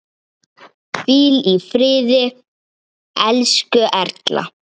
Hvíl í friði, elsku Erla.